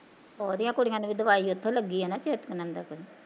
ਓਹਦੀਆਂ ਕੁੜੀਆਂ ਨੂੰ ਵੀ ਦਵਾਈ ਓਥੋਂ ਲੱਗੀ ਆ ਨਾ ਚਿਤਕਨੰਦਾ ਤੋਂ